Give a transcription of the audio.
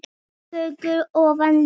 fögur ofan lög.